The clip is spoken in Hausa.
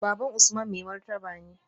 Baban Usman mai martaba ne